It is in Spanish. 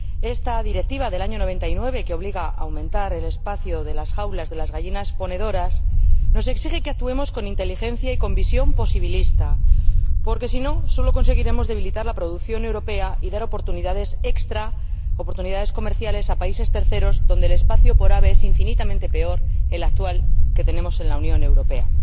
Esta Directiva de 1999, que obliga a aumentar el espacio de las jaulas de las gallinas ponedoras, nos exige que actuemos con inteligencia y con visión posibilista, porque, si no, solo conseguiremos debilitar la producción europea y dar oportunidades extras, oportunidades comerciales, a países terceros, en los que el espacio por ave es infinitamente inferior al que actualmente tenemos en la Unión Europea.